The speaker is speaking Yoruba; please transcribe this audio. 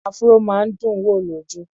Afro máa ń dùn wò lójú.